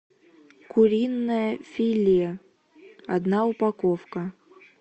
куриное филе одна упаковка